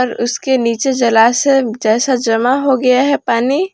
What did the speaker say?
और उसके नीचे जलाशय जैसा जमा हो गया है पानी।